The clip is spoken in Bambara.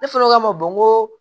Ne fana ko k'a ma bɔn ko